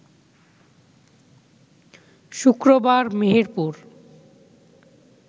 শুক্রবার মেহেরপুর